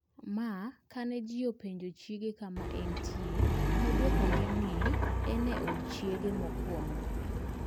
Ma kane ji openjo chiege kama ne entie, ne odwokogi ni ne en e od chiege mokwongo (Mika.